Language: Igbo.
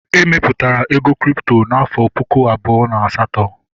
E mepụtara ego kripto n'afọ puku abụọ na asatọ